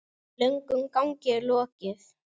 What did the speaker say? Löngum gangi er lokið.